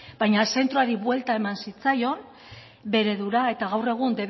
baina zentroari buelta eman zitzaion bostehun eredura eta gaur egun